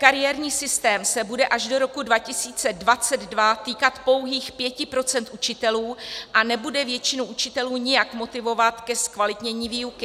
Kariérní systém se bude až do roku 2022 týkat pouhých 5 % učitelů a nebude většinu učitelů nijak motivovat ke zkvalitnění výuky.